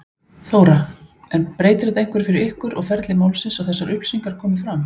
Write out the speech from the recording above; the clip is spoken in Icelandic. Þóra: En breytir þetta einhverju fyrir ykkur og ferli málsins að þessar upplýsingar komi fram?